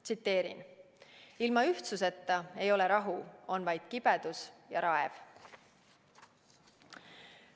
Tsiteerin: "Ilma ühtsuseta ei ole rahu, on vaid kibedus ja raev.